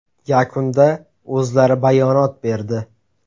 Yakunda o‘zlari bayonot berdi.